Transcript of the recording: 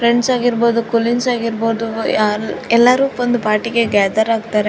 Friends ಆಗಿರ್ಬಹುದು colleagues ಆಗಿರ್ಬಹುದು ಯಾರ್ ಎಲ್ಲರು ಬಂಡಿ ಪಾರ್ಟಿ ಗೆ ಗ್ಯಾದರ್ ಆಗ್ತಾರೆ.